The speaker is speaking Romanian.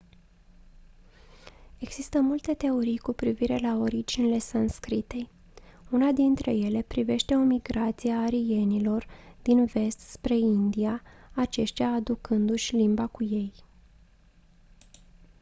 există multe teorii cu privire la originile sanscritei una dintre ele privește o migrație a arienilor din vest spre india aceștia aducându-și limba cu ei